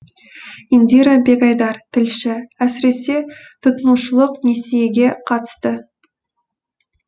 индира бегайдар тілші әсіресе тұтынушылық несиеге қатысты